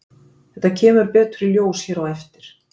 þetta kemur betur í ljós hér á eftir